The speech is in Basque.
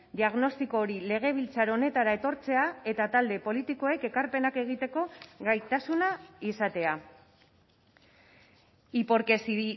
diagnostiko hori legebiltzar honetara etortzea eta talde politikoek ekarpenak egiteko gaitasuna izatea y porque si